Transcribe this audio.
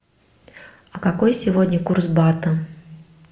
а какой сегодня курс бата